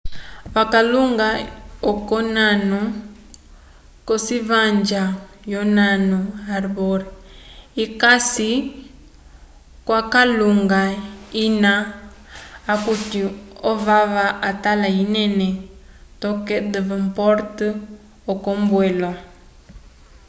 vakalunga yokonano cocivanja yonano harbour icasi cocalunga ina okuti ovava atala enene toke devonport yocombwelo